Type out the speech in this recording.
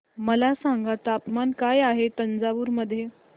मला सांगा तापमान काय आहे तंजावूर मध्ये